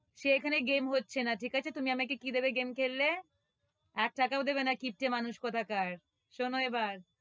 সে এখানে game হচ্ছে না, ঠিক আছে? তুমি আমাকে কি দেবে game খেললে? এক টাকাও দেবে কিপ্টে মানুষ কোথাকার, শুনো এবার,